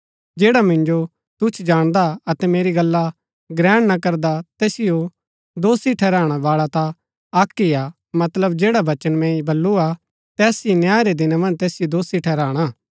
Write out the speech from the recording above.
जैडा मिन्जो तूछ जाणदा अतै मेरी गल्ला ग्रहण ना करदा तैसिओ दोषी ठहराणै बाळा ता अक्क ही हा मतलब जैडा बचन मैंई बल्लू हा तैस ही न्याय रै दिना मन्ज तैसिओ दोषी ठहराणा